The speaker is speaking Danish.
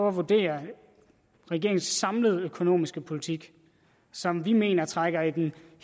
at vurdere regeringens samlede økonomiske politik som vi mener trækker i den